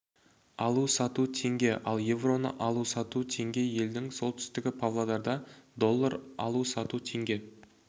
алу сату теңге ал евроны алу сату теңге елдің солтүстігі павлодарда доллар алу сату теңге